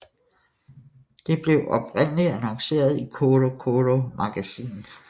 Det blav oprindeligt annonceret i Coro Coro Magazine